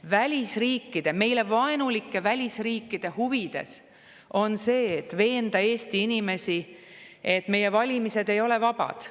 Välisriikide, meile vaenulike välisriikide huvides on veenda Eesti inimesi, et meie valimised ei ole vabad.